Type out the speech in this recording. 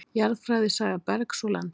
Jarðfræði Saga bergs og lands.